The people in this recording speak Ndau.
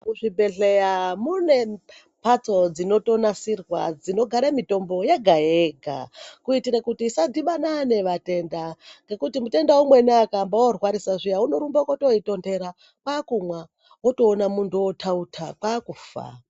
Muzvibhedhleya mune mbatso dzinotonasirwa dzinogare mitombo yega yega ngekuti kutitire kuti isadhibana nevatenda ngekuti mutenda umweni kana orwarisa zviya unotorumbe koitonhera kwakumwa kwakutoone muntu othautha kwakufa.